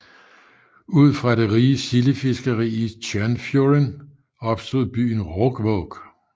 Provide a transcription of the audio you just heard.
Ud fra det rige sildefiskeri i Stjørnfjorden opstod byen Råkvåg